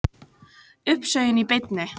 Uppsögnin í beinni